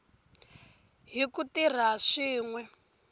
hi ku tirha swin we